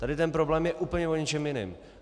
Tady ten problém je úplně o něčem jiném.